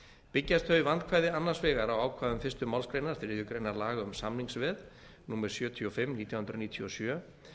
byggjast þau vandkvæði annars vegar á ákvæðum fyrstu málsgrein þriðju grein laga um samningsveð númer sjötíu og fimm nítján hundruð níutíu og sjö